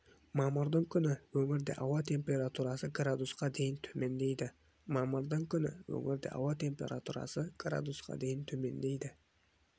мамырдың күні өңірде ауа температурасы градусқа дейін төмендейді мамырдың күні өңірде ауа температурасы градусқа дейін төмендейді